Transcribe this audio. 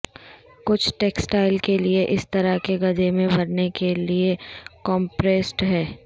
کچھ ٹیکسٹائل کے لئے اس طرح کے گدھے میں بھرنے کے لئے کمپریسڈ ہیں